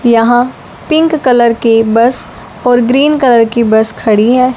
यहां pink colour की bus और ग्रीन कलर की बस खड़ी है।